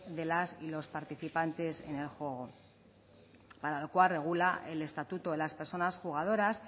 de las y los participantes en el juego para el cual regula el estatuto las personas jugadoras